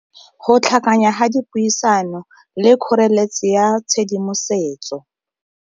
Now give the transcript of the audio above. Go tlhakanya ga dipuisano le kgoreletsi ya tshedimosetso.